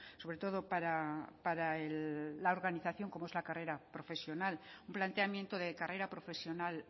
sobre todo para la organización como es la carrera profesional un planteamiento de carrera profesional